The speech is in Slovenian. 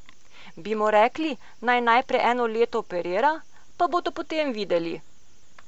Bi mu rekli, naj najprej eno leto operira, pa bodo potem videli?